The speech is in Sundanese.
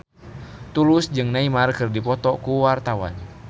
Tulus jeung Neymar keur dipoto ku wartawan